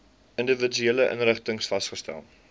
individuele inrigtings vasgestel